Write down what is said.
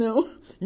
Não